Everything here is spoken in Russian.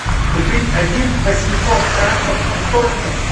купить один восемьсот франков стоимость